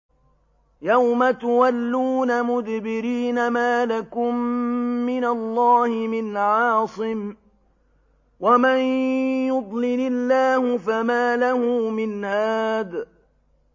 يَوْمَ تُوَلُّونَ مُدْبِرِينَ مَا لَكُم مِّنَ اللَّهِ مِنْ عَاصِمٍ ۗ وَمَن يُضْلِلِ اللَّهُ فَمَا لَهُ مِنْ هَادٍ